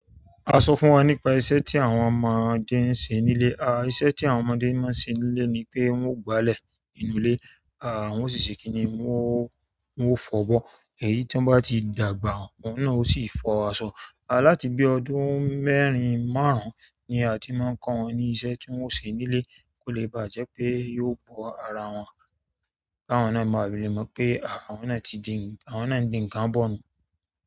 A sọ fún wa nípa iṣẹ́ tí àwọn ọmọdé ń ṣe nílé. Iṣẹ́ tí àwọn ọmọdé máa ń ṣe ní'lé ni pé wọ́n ó gbálẹ̀ inú ilé, wọ́n ó sì ṣe kíni? Wọ́n ó— wọ́n ó fọ'bọ́. Èyí tí wọ́n bá ti dàgbà, òun náà ó sì fọ aṣọ. Láti bí ọdún mẹ́rin, márùn-ún ni a ti máa ń kọ́ wọn ní iṣẹ́ tí wọ́n ó ṣe nílé kó lè ba jẹ́ pé yóò bọ́ ara wọn, k'áwọn náà máa filè mọ̀ pé àwọn náà ti di—àwọn náà ń di ǹǹkan bọ̀ nìyẹn.